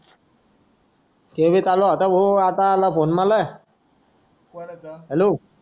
चोवीस आला आता आला फोन मला हॅलो